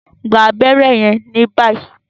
gbà abéré yen ní báyìí!